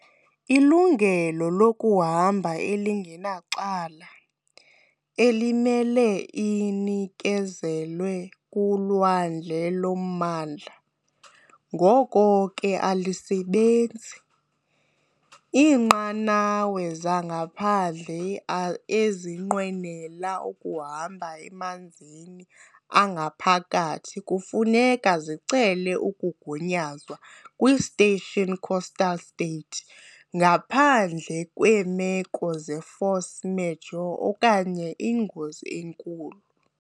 Ilungelo lokuhamba elingenacala, elimele linikezelwe kulwandle lommandla, ngoko ke alisebenzi, iinqanawa zangaphandle ezinqwenela ukuhamba emanzini angaphakathi kufuneka zicele ukugunyazwa kwi-State Coastal State, ngaphandle kweemeko ze-force majeure okanye ingozi enkulu.